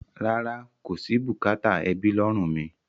Rárá, kò sí bùkátà ẹbí lọ́rùn mi.